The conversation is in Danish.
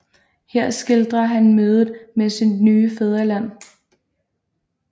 Her skildrer han mødet med sit nye fædreland